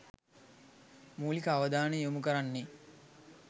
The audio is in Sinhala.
මූලික අවධානය යොමු කරන්නේ